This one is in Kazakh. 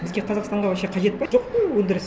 бізге қазақстанға вообще қажет пе жоқ қой өндіріс